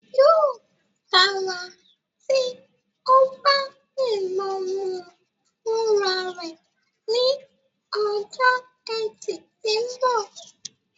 Yóò dára tí o bá lè lọ mú u fúnra rẹ ní ọjọ́ Etì tí ń bọ̀